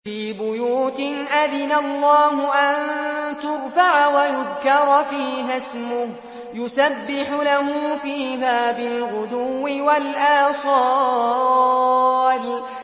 فِي بُيُوتٍ أَذِنَ اللَّهُ أَن تُرْفَعَ وَيُذْكَرَ فِيهَا اسْمُهُ يُسَبِّحُ لَهُ فِيهَا بِالْغُدُوِّ وَالْآصَالِ